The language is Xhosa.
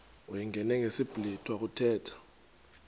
uyingene ngesiblwitha kuthethwa